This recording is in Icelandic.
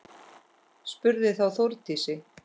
Spurði þá Þórdís: